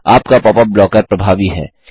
आपका popup blocker प्रभावी है